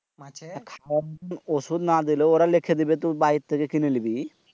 ঔষধ না দিলেও ওরা লিখে দিবে তুই বাইরে থেকে কিলে নিবি।